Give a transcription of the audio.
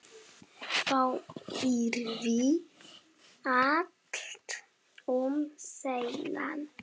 Þá yrði allt um seinan.